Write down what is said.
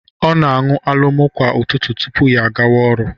Ọ na-aṅụ alomo kwa ụtụtụ tupu ya agawa ọrụ